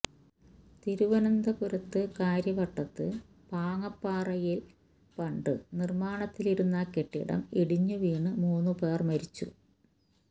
തിരുവനന്തപുരത്ത് കാര്യവട്ടത്ത് പാങ്ങപ്പാറയില് ഫഌറ്റ് നിര്മാണത്തിലിരുന്ന കെട്ടിടം ഇടിഞ്ഞു വീണു മൂന്നു പേര് മരിച്ചു